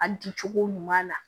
A di cogo ɲuman na